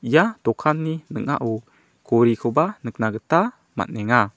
ia dokanni ning·ao gorikoba nikna gita man·enga.